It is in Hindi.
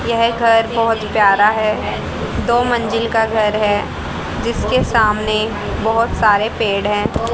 यह घर बहोत प्यारा है दो मंजिल का घर है जीसके के सामने बहोत सारे पेड़ हैं।